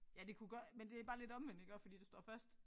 Ja det kunne godt men det bare lidt omvendt iggå fordi der står først